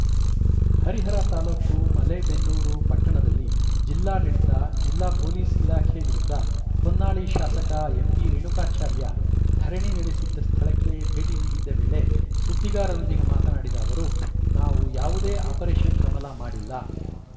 ಹರಿಹರ ತಾಲೂಕು ಮಲೆಬೆನ್ನೂರು ಪಟ್ಟಣದಲ್ಲಿ ಜಿಲ್ಲಾಡಳಿತ ಜಿಲ್ಲಾ ಪೊಲೀಸ್‌ ಇಲಾಖೆ ವಿರುದ್ಧ ಹೊನ್ನಾಳಿ ಶಾಸಕ ಎಂಪಿರೇಣುಕಾಚಾರ್ಯ ಧರಣಿ ನಡೆಸಿದ್ದ ಸ್ಥಳಕ್ಕೆ ಭೇಟಿ ನೀಡಿದ್ದ ವೇಳೆ ಸುದ್ದಿಗಾರರೊಂದಿಗೆ ಮಾತನಾಡಿದ ಅವರು ನಾವು ಯಾವುದೇ ಆಪರೇಷನ್‌ ಕಮಲ ಮಾಡಿಲ್ಲ